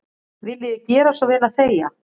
Viljiði gera svo vel að þegja.